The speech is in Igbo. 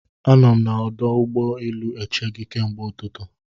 Anọ m na ọdụ ụgbọ elu eche gị ke mgbe ụtụtụ